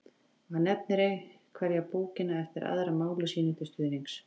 Og hann nefnir hverja bókina eftir aðra máli sínu til stuðnings.